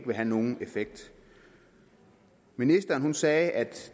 vil have nogen effekt ministeren sagde at